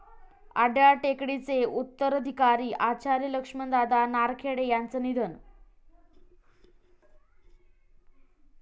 अड्याळ टेकडी चे उत्तराधिकारी आचार्य लक्ष्मणदादा नारखेडे यांचं निधन